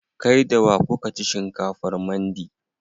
Kai da wa kuka ci shinkafar mandi?